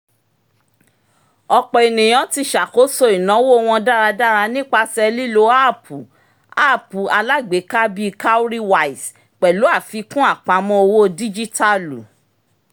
ọ̀pọ̀ ènìyàn ti ṣàkóso ináwó wọn dáradára nípasẹ̀ lílo áàpùapp alágbèéká bíi cowrywise pẹ̀lú àfikún apamọ́ owó díjítàlù